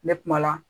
Ne kumala